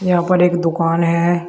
यहाँ पर एक दुकान है।